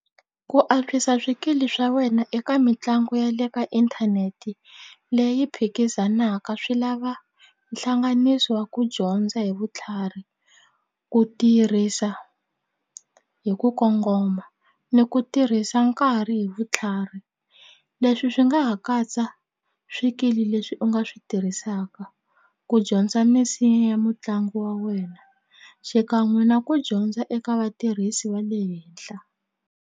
Ku antswisa swikili swa wena eka mitlangu ya le ka inthanete leyi phikizanaka swi lava hlanganiso wa ku dyondza hi vutlhari ku tirhisa hi ku kongoma ni ku tirhisa nkarhi hi vutlhari leswi swi nga ha katsa swikili leswi u nga swi tirhisaka ku dyondza misinya ya mutlangi wa wena xikan'we na ku dyondza eka vatirhisi va le henhla.